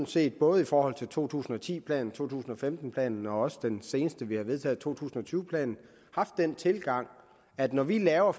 set både i forhold til to tusind og ti planen to tusind og femten planen og også den seneste vi har vedtaget nemlig to tusind og tyve planen haft den tilgang at når vi laver